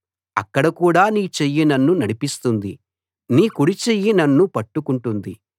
అక్కడ కూడా నీ చెయ్యి నన్ను నడిపిస్తుంది నీ కుడిచెయ్యి నన్ను పట్టుకుంటుంది